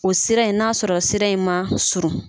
O sira in n'a sɔrɔ sira in man surun.